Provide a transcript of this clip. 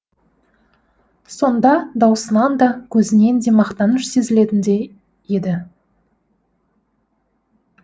сонда даусынан да көзінен де мақтаныш сезілетіндей еді